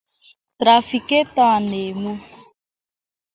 Trafikato a na-enwu